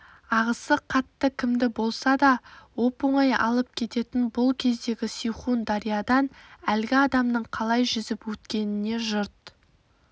ағысы қатты кімді болса да оп-оңай алып кететін бұл кездегі сейхун дариядан әлгі адамның қалай жүзіп өткеніне жұрт